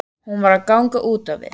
Hún var að ganga úti við.